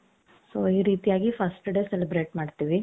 so ಈ ರೀತಿಯಾಗಿ first day celebrate ಮಾಡ್ತೀವಿ.